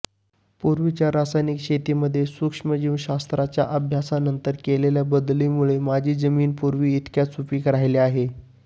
पूर्वीच्या रासायनिक शेतीमध्ये सूक्ष्मजीवशास्त्राच्या अभ्यासानंतर केलेल्या बदलामुले माझ्या जमिनी पूर्वीइतक्याच सुपीक राहिल्या आहेत